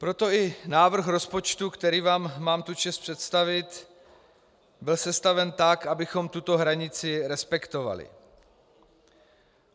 Proto i návrh rozpočtu, který vám mám tu čest představit, byl sestaven tak, abychom tuto hranici respektovali.